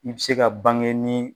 I bɛ se ka bange ni